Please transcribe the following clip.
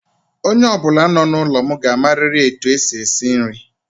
Onye ọbụla nọ n'ụlọ m ga-amariri etu e si esi nri.